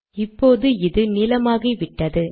இப்போது இது நீலமாகிவிட்டது